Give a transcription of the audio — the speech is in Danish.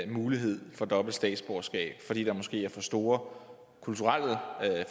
mulighed for dobbelt statsborgerskab i fordi der måske er for store kulturelle